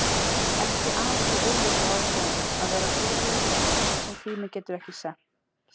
Ekki aðeins af augljósu ástæðunum: Að vera fegurð sem tíminn gat ekki snert.